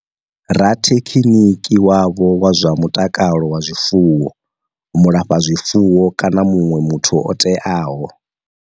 Rathekhiniki wavho wa zwa mutakalo wa zwifuwo, mulafhazwifuwo kana muṅwe muthu o teaho.